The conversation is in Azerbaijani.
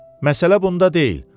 Məsələ bunda deyil.